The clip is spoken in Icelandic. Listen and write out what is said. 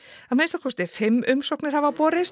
að minnsta kosti fimm umsóknir hafa borist